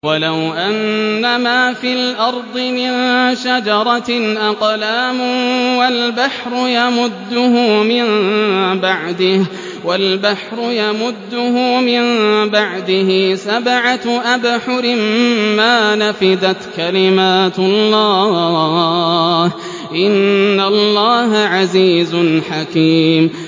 وَلَوْ أَنَّمَا فِي الْأَرْضِ مِن شَجَرَةٍ أَقْلَامٌ وَالْبَحْرُ يَمُدُّهُ مِن بَعْدِهِ سَبْعَةُ أَبْحُرٍ مَّا نَفِدَتْ كَلِمَاتُ اللَّهِ ۗ إِنَّ اللَّهَ عَزِيزٌ حَكِيمٌ